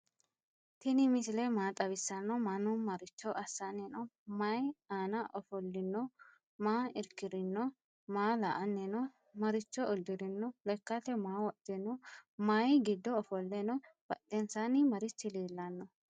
tini misile maa xawisano? manu maricho asani no?mayi aana offollino? maa lrkirino? maa la"annino? maricho uddirino? leekkate maa wodhino? maayi gido offole no?badhensani marichi lelano?